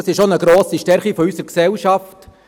Dies ist auch eine grosse Stärke unserer Gesellschaft.